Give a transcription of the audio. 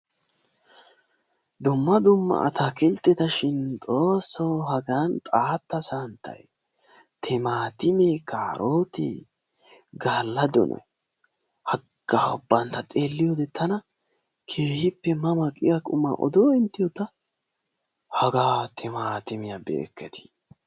Dumma dumma atakiltteta shin Xoosso hagan xaatta santtay, timatimme, kaarote, gaalla doonoy, haga ubban ta xeelliyoode tana keehippe ma ma giya quma odo inttiyo ta, haga timatimiya be'ekketti.